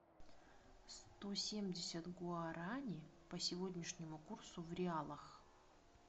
сто семьдесят гуарани по сегодняшнему курсу в реалах